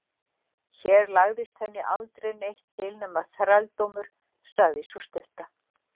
Hér lagðist henni aldrei neitt til nema þrældómur, sagði sú stutta.